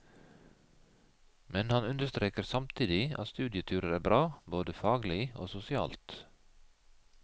Men han understreker samtidig at studieturer er bra både faglig og sosialt.